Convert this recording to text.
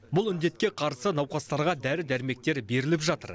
бұл індетке қарсы науқастарға дәрі дәрмектер беріліп жатыр